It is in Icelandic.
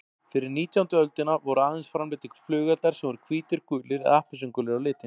Fyrir nítjándu öldina voru aðeins framleiddir flugeldar sem voru hvítir, gulir eða appelsínugulir á litinn.